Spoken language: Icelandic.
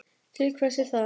Til hvers er það?